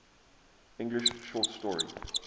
english short story